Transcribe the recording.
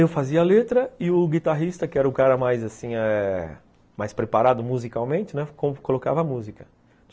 Eu fazia a letra e o guitarrista, que era o cara mais assim eh... preparado musicalmente, colocava a música.